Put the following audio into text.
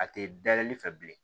A tɛ dayɛlɛli fɛ bilen